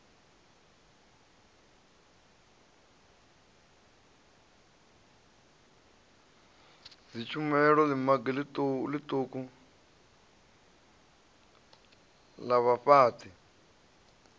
dzitshumelo ḽimagi ḽiṱuku na vhafhaṱi